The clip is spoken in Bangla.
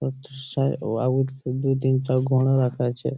দৃশ্যায় ও আ দু তিনটা ঘোড়া রাখা আছে